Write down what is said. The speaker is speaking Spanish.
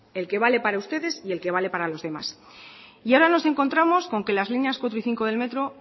el que vale para ustedes y en el que vale para los demás y ahora nos encontramos con que las líneas cuatro y cinco del metro